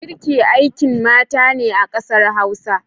Girki aikin mata ne a kasar Hausa.